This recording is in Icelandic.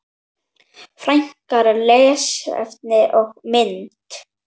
Frekara lesefni og mynd